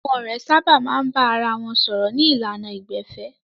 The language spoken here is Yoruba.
Àwọn ọ̀rẹ́ sábà máa ń bára wọn sọ̀rọ̀ ní ìlànà ìgbẹ̀fẹ́.